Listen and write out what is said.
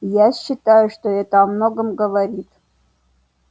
я считаю что это о многом говорит